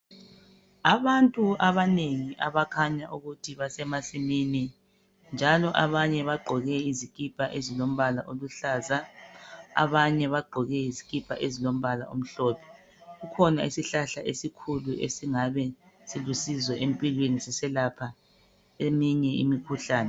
Abantu abanengi abakhanya ukuthi basemasimini, njalo abanye bagqoke izikipa ezilombala eziluhlaza abanye bagqoke izikipa ezilombala omhlophe kukhona isihlahla esikhulu esingabe silusizo empilweni siselapha eminye imikhuhlane.